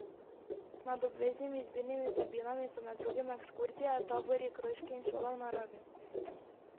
Med obveznimi izbirnimi vsebinami so med drugim ekskurzije, tabori, krožki in šola v naravi.